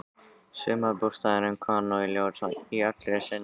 Sumarbústaðurinn kom nú í ljós í allri sinni dýrð.